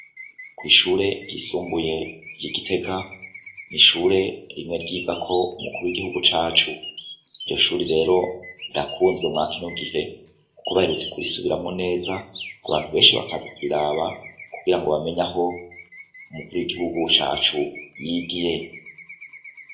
Kwishure ryisumbuye ryigitega ishure rimwe ryigako umukuru wigihugu cacu iryo shure rero rirakunzwe mwakino gihe kuko baherutse kurisubiramw neza abantu benshi bakaza kuriraba kugira ngo bamenye iyo umukuru yigihugu cacu yigiye